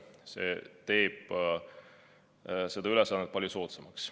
See teeb selle ülesande palju soodsamaks.